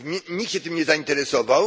Nikt się tym nie zainteresował.